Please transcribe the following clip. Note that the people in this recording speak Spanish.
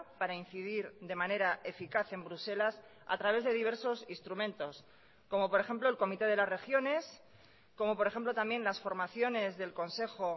para incidir de manera eficaz en bruselas a través de diversos instrumentos como por ejemplo el comité de las regiones como por ejemplo también las formaciones del consejo